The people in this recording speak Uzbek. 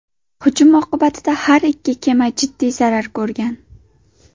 Hujum oqibatida har ikki kema jiddiy zarar ko‘rgan.